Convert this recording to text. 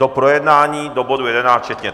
Do projednání do bodu 11 včetně.